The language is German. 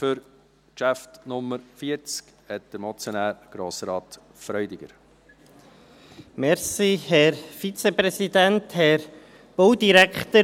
Für das Traktandum Nummer 40 hat der Motionär Grossrat Freudiger das Wort.